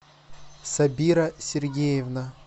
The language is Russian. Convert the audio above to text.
сабира сергеевна